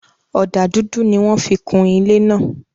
Ọdà dúdú ni wọn fí kún ilẹ̀ ná.